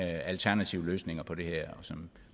alternative løsninger på det her som